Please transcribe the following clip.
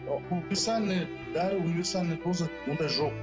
дәрі универсальный ондай жоқ